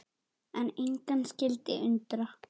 En engan skyldi undra.